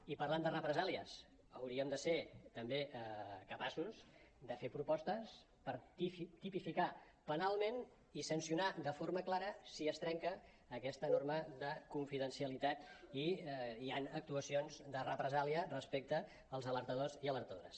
i parlant de represàlies hauríem de ser també capaços de fer propostes per tipificar penalment i sancionar de forma clara si es trenca aquesta norma de confidencialitat i hi han actuacions de represàlia respecte als alertadors i alertadores